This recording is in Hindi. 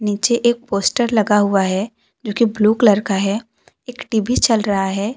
नीचे एक पोस्टर लगा हुआ है जो की ब्लू कलर का है एक टी_वी चल रहा है।